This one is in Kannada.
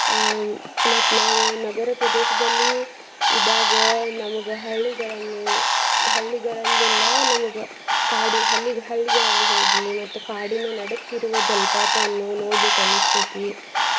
ಅಹ್ ಮತ್ತ್ ನಾವ್ ನಗರ ಪ್ರದೇಶದಲ್ಲಿ ಇದ್ದಾಗ ನಮ್ಗ ಹಳ್ಳಿಗಳಲ್ಲಿ, ಹಳ್ಳಿಗಳೇಲ್ಲಾ ನಮ್ಗ ಕಾಡಿ ಹಳ್ಳಿ ಹಳ್ಳಿಗಳಲ್ಲಿ ಹೋಗಿ ಮತ್ತ್ ಕಾಡಿನ ನಡಕ್ ಇರುವ ಜಲ್ಪಾತವನ್ನು ನೋಡ್ಬೇಕ್ ಅನ್ನಸ್ತೇತಿ.